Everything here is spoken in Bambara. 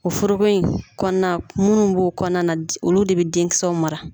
O foroko in kɔnɔna munnu b'o kɔnɔna na olu de bɛ denkisɛw mara.